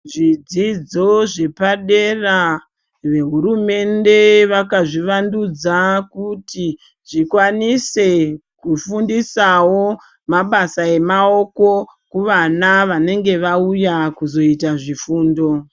Zvidzidzo zvepadera vehurumende vakazvivandudza kuti zvikwanise kufundisawo mabasa emaoko kuvana vanenge vauya kuzoita zvifundo .